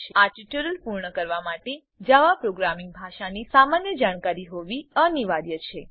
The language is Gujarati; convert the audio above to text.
આ ટ્યુટોરીયલ પૂર્ણ કરવા માટે જાવા પ્રોગ્રામિંગ ભાષાની સામાન્ય જાણકારી હોવી અનિવાર્ય છે